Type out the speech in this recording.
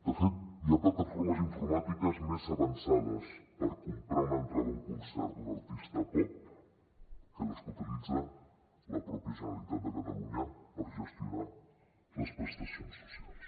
de fet hi ha plataformes informàtiques més avançades per comprar una entrada d’un concert d’un artista pop que les que utilitza la mateixa generalitat de catalunya per gestionar les prestacions socials